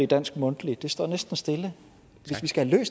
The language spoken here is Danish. dansk mundtlig næsten stille hvis vi skal have